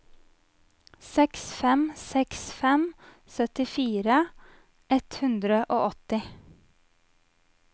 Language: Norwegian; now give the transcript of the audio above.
seks fem seks fem syttifire ett hundre og åtti